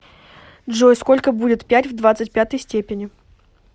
джой сколько будет пять в двадцать пятой степени